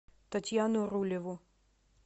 татьяну рулеву